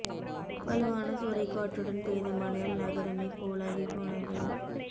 வலுவான சூறைக் காற்றுடன் பெய்த மழையால் நகரமே கூலாகிப் போனது